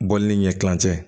Bɔli ni ɲɛkili cɛ